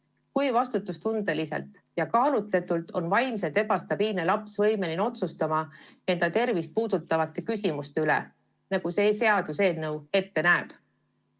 Kui suure vastutustundega, kui kaalutletult on vaimselt ebastabiilne laps võimeline otsustama oma tervist puudutavate küsimuste üle, nagu see seaduseelnõu ette näeb?